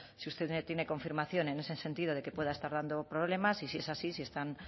si usted tiene confirmación en ese sentido de que pueda estar tardando problemas y si es así si están